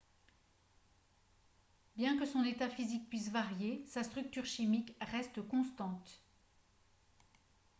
bien que son état physique puisse varier sa structure chimique reste constante